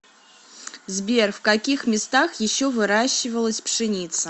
сбер в каких местах еще выращивалась пшеница